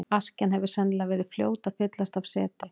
Askjan hefur sennilega verið fljót að fyllast af seti.